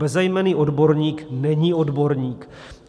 Bezejmenný odborník není odborník.